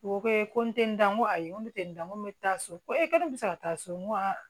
U ko ko ee ko n tɛ n da n ko ayi n ko n tɛ n da ko n bɛ taa so ko ee ko ne bɛ se ka taa so n ko a